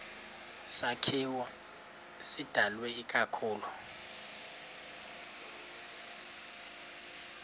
sakhiwo sidalwe ikakhulu